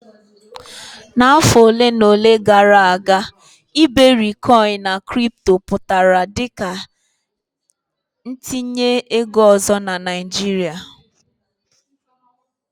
N'ime afọ ole na ole gara aga iberikoin na kripto pụtara dị ka ntinye ego ọzọ na Naijiria.